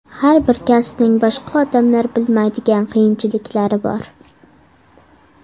Har bir kasbning boshqa odamlar bilmaydigan qiyinchiliklari bor.